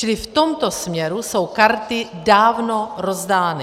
Čili v tomto směru jsou karty dávno rozdány.